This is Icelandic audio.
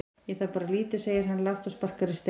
Ég þarf bara lítið segir hann lágt og sparkar í stein.